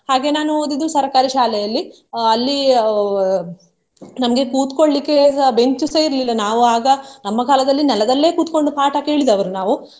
ಹಾಗೆ ನಾನು ಓದಿದ್ದು ಸರ್ಕಾರಿ ಶಾಲೆಯಲ್ಲಿ ಅಹ್ ಅಲ್ಲಿ ಅಹ್ ನಮ್ಗೆ ಕೂತ್ಕೊಳ್ಳಿಕೆ ಸಹ ಬೆಂಚು ಸಹ ಇರ್ಲಿಲ್ಲ ನಾವು ಆಗ ನಮ್ಮ ಕಾಲದಲ್ಲಿ ನೆಲದಲ್ಲೇ ಕೂತ್ಕೊಂಡು ಪಾಠ ಕೇಳಿದವರು ನಾವು.